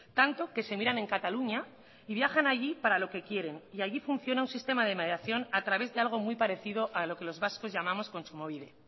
tanto que se miran en cataluña y viajan allí para lo que quieren y allí funciona un sistema de mediación a través de algo muy parecido a lo que los vascos llamamos kontsumobide